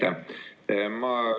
Aitäh!